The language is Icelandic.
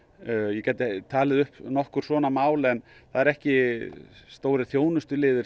ég gæti talið upp nokkur svona mál en það eru ekki stórir þjónustuliðir